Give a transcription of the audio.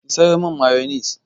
Ki sayo min mayonis!